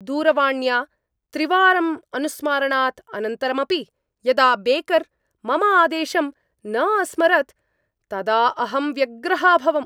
दूरवाण्या त्रिवारं अनुस्मारणात् अनन्तरमपि यदा बेकर् मम आदेशं न अस्मरत् तदा अहं व्यग्रः अभवम्।